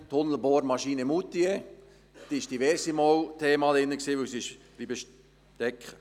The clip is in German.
Die «Tunnelbohrmaschine Moutier» war mehrmals ein Thema hier drin, weil sie steckengeblieben ist.